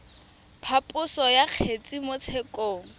phaposo ya kgetse mo tshekong